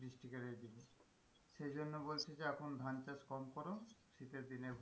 সে জন্য বলছি যে এখন ধান চাষ কম করো শীতের দিনে,